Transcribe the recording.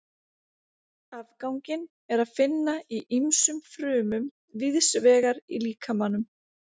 Afganginn er að finna í ýmsum frumum víðs vegar í líkamanum.